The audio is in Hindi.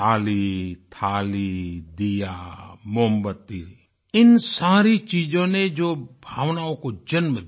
ताली थाली दीया मोमबत्ती इन सारी चीज़ों ने जो भावनाओं को जन्म दिया